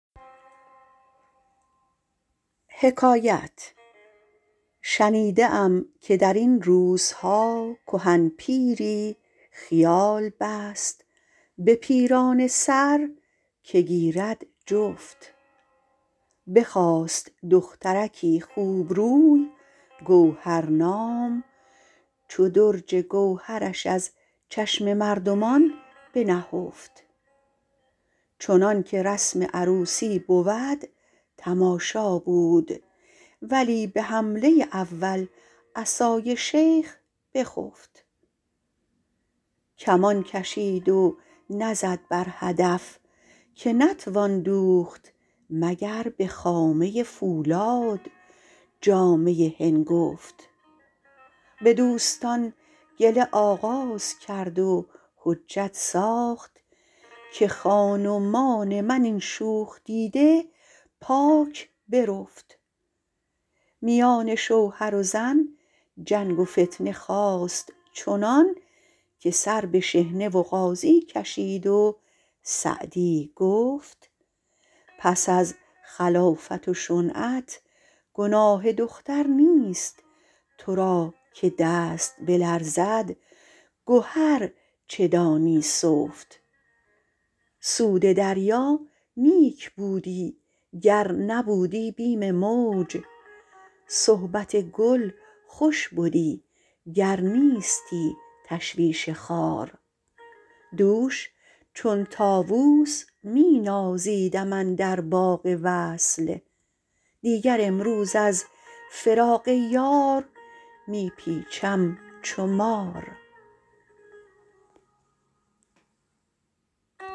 شنیده ام که در این روزها کهن پیری خیال بست به پیرانه سر که گیرد جفت بخواست دخترکی خوبروی گوهرنام چو درج گوهرش از چشم مردمان بنهفت چنان که رسم عروسی بود تماشا بود ولی به حمله اول عصای شیخ بخفت کمان کشید و نزد بر هدف که نتوان دوخت مگر به خامه فولاد جامه هنگفت به دوستان گله آغاز کرد و حجت ساخت که خان ومان من این شوخ دیده پاک برفت میان شوهر و زن جنگ و فتنه خاست چنان که سر به شحنه و قاضی کشید و سعدی گفت پس از خلافت و شنعت گناه دختر نیست تو را که دست بلرزد گهر چه دانی سفت سود دریا نیک بودی گر نبودی بیم موج صحبت گل خوش بدی گر نیستی تشویش خار دوش چون طاووس می نازیدم اندر باغ وصل دیگر امروز از فراق یار می پیچم چو مار